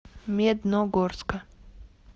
медногорска